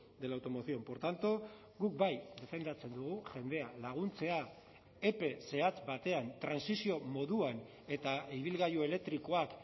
de la automoción por tanto guk bai defendatzen dugu jendea laguntzea epe zehatz batean trantsizio moduan eta ibilgailu elektrikoak